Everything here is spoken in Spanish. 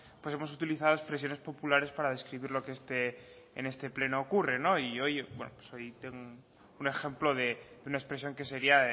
pues hemos utilizado expresiones populares para describir en este pleno ocurre y hoy tengo un ejemplo una expresión que sería